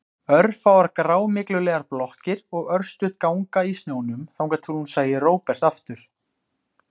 Örfáar grámyglulegar blokkir og örstutt ganga í snjónum þangað til hún sæi Róbert aftur.